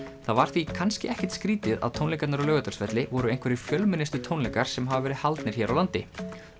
það var því kannski ekkert skrítið að tónleikarnir á Laugardalsvelli voru einhverjir fjölmennustu tónleikar sem hafa verið haldnir hér á landi